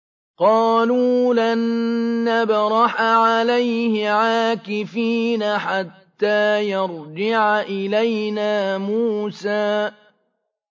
قَالُوا لَن نَّبْرَحَ عَلَيْهِ عَاكِفِينَ حَتَّىٰ يَرْجِعَ إِلَيْنَا مُوسَىٰ